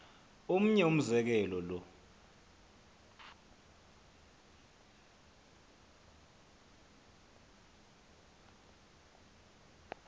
omnye umzekelo lo